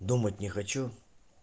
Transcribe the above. думать не хочу